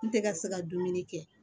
N tɛ ka se ka dumuni kɛ